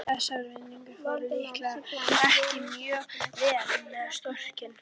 Þessar vinnutarnir fóru líklega ekki mjög vel með skrokkinn.